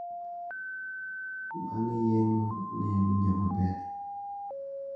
Bang` yeng`o ne awinjo maber.